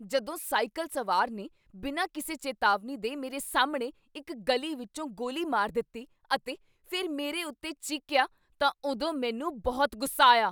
ਜਦੋਂ ਸਾਈਕਲ ਸਵਾਰ ਨੇ ਬਿਨਾਂ ਕਿਸੇ ਚੇਤਾਵਨੀ ਦੇ ਮੇਰੇ ਸਾਹਮਣੇ ਇੱਕ ਗਲੀ ਵਿੱਚੋਂ ਗੋਲੀ ਮਾਰ ਦਿੱਤੀ ਅਤੇ ਫਿਰ ਮੇਰੇ ਉੱਤੇ ਚੀਕੀਆ ਤਾਂ ਉਦੋਂ ਮੈਨੂੰ ਬਹੁਤ ਗੁੱਸਾ ਆਇਆ।